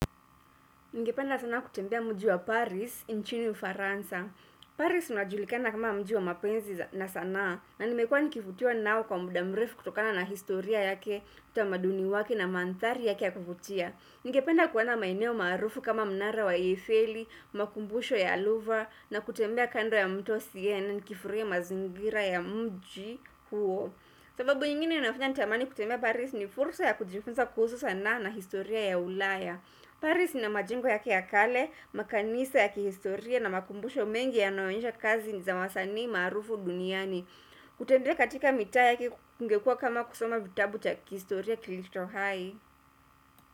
Ningependa sana kutembea mji wa Paris, nchini ufaransa. Paris unajulikana kama mji wa mapenzi na sanaa, na nimekuwa nikivutiwa nao kwa muda mrefu kutokana na historia yake, utamaduni wake na mandhari yake ya kuvutia. Ningependa kuona maeneo maarufu kama mnara wa Eiffeli, makumbusho ya Aluva, na kutembea kando ya mto Siene, na nikifurahia mazingira ya mji huo. Sababu ingine inafanya nitamani kutembea Paris ni fursa ya kujifunza kuhusu sanaa na historia ya ulaya. Paris ina majingo yake ya kale, makanisa ya kihistoria na makumbusho mengi yanayoonesha kazi za wasanii maarufu duniani. Kutembea katika mitaa yake kungekuwa kama kusoma vitabu cha kihistoria kilicho hai.